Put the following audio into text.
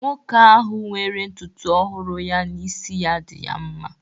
Nwoke ahu were ntutu ohuru ya na isi ya di ya mma.